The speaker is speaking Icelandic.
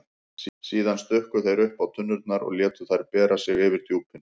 Síðan stukku þeir uppá tunnurnar og létu þær bera sig yfir djúpin.